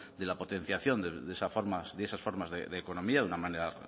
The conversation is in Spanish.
de la potenciación de esas formas de economía de una manera